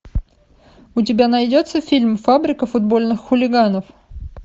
у тебя найдется фильм фабрика футбольных хулиганов